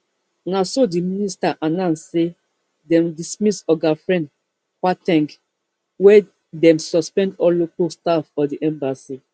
na so di minister announce say dem dismiss oga fred kwar ten g wey dem suspend all local staff of di embassy